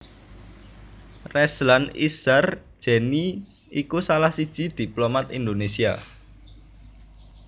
Rezlan Ishar Jenie iku salah siji diplomat Indonésia